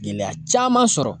Gɛlɛya caman sɔrɔ